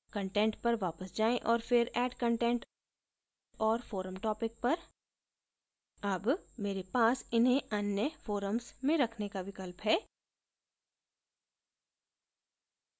content पर वापस आयें और फिर add content और forum topic पर add मेरे पास इन्हें अन्य forums में रखने का विकल्प है